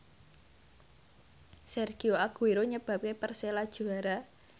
Sergio Aguero nyebabke Persela juara